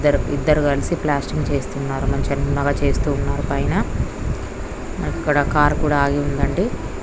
ద్దరు ఇద్దరు కలిసి ప్లాస్టింగ్ చేస్తున్నారు మంచిగా చేస్తూ ఉన్నారు పైన అక్కడ కార్ కూడా ఆగి ఉందండి.